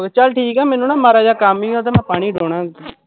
ਚੱਲ ਠੀਕ ਐ ਮੈਂਨੂੰ ਮਾੜਾ ਜਿਹਾ ਕੰਮ ਈ, ਮੈਂ ਉਹਦੇ ਨਾਲ਼ ਪਾਣੀ ਨੂੰ ਡਾਉਨਾਂ ਕਿ